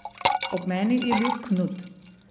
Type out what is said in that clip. Ob meni je bil Knut.